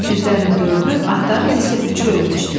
Öküzlərin dördü, atların isə üçü ölmüşdü.